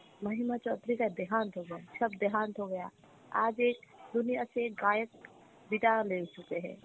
Hindi